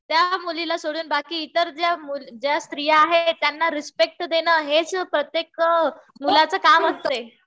त्या मुलीला सोडून बाकी इतर ज्या स्त्रिया आहेत त्यांना रिस्पेक्ट देणं हेच प्रत्येक मुलाचं काम असतंय.